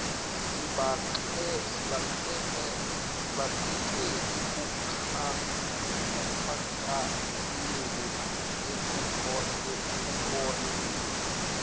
sibanxenxe ekukhankaseleni ekukolekeni